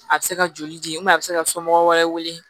A bɛ se ka joli di a bɛ se ka somɔgɔw wɛrɛ wele